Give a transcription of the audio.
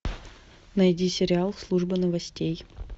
найди сериал служба новостей